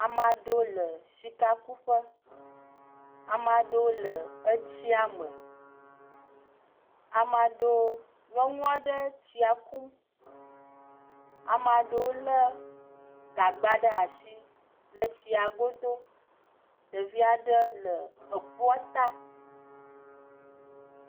Ame aɖewo le sikakuƒe, ame aɖewo le etsia me, ame aɖewo, nyɔnua aɖe tsia kum, ame aɖewo lé gagba ɖe asi le tsia godo, ɖevia aɖe le ekpoɔ ta.